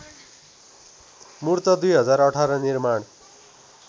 मूर्त २०१८ निर्माण